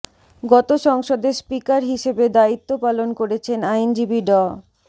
গত সংসদে স্পিকার হিসেবে দায়িত্ব পালন করেছেন আইনজীবী ড